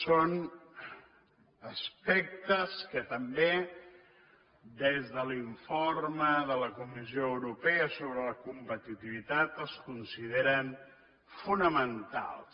són aspectes que també des de l’informe de la comissió europea sobre la competitivitat es consideren fonamentals